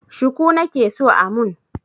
Shuku nake so a mun.